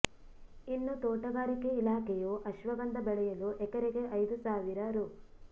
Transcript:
ಇನ್ನು ತೋಟಗಾರಿಕೆ ಇಲಾಖೆಯು ಅಶ್ವಗಂಧ ಬೆಳೆಯಲು ಎಕರೆಗೆ ಐದು ಸಾವಿರ ರೂ